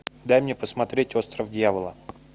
дай мне посмотреть остров дьявола